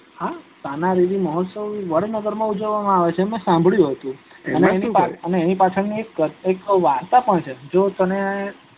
હા તાનારીરી મહોસ્ત્વ વડનગર માં ઉજવવામાં આવે છે મે સાંભળ્યું હતું એની પાછળ એક વાર્તા પણ છે.